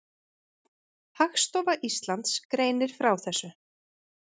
Hagstofa Íslands greinir frá þessu.